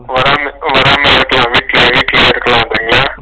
வராம வராம okay யா okay யா okay யா okay யாண்டு இருக்கிங்களா ?